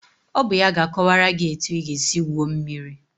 Ọ bụ ya ga-akọwara gị etu ị ga-esi gwuo mmiri